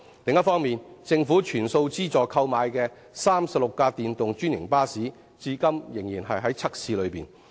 另一方面，政府全數資助購買的36輛電動專營巴士，則至今仍在測試中。